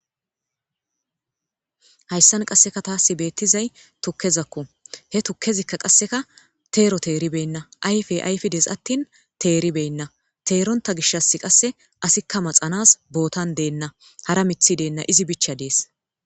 hayssan qasseka tasi beettizay tukkezakku he tukkezikka qasseka teero teeribenna ayfe ayfidees attin teeribenna teeronta gishas qasse asikka maxanas bootan deenna hara mithi deenna izi bicha dees